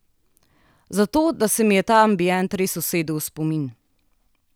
Zato, da se mi je ta ambient res usedel v spomin.